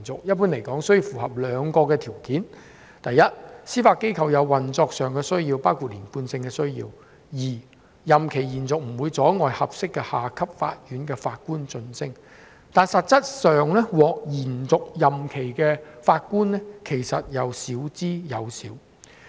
一般而言，須符合兩項條件：第一，司法機構有運作上的需要，包括連貫性的需要；第二，任期延續不會阻礙合適的下級法院的法官晉升，但實質上，獲延續任期的法官少之又少。